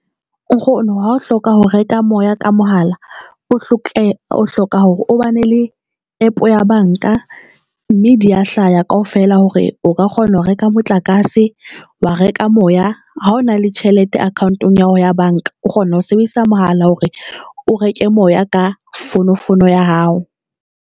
Nkgono ha o hloka ho reka moya ka mohala, o hloka hore o ba ne le APP ya banka mme di ya hlaha ya kaofela hore o ka kgona ho reka motlakase, wa reka moya. Ha o na le tjhelete account-ong ya hao ya banka, o kgona ho sebedisa mohala hore o reke moya ka fono fono ya hao.